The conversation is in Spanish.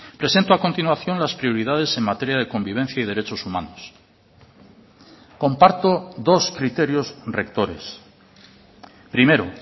presento a continuación las prioridades en materia de convivencia y derechos humanos comparto dos criterios rectores primero